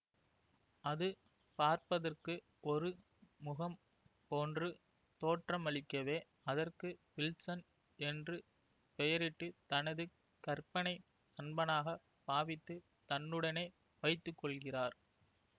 அது பார்பதற்கு ஒரு முகம் போன்று தோற்றமளிக்கவே அதற்கு வில்சன் என்று பெயரிட்டு தனது கற்பனை நண்பனாக பாவித்து தன்னுடனே வைத்துகொள்கிறார்